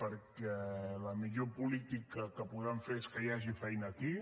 perquè la millor política que podem fer és que hi hagi feina aquí